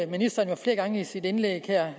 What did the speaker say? ministeren flere gange i sit indlæg her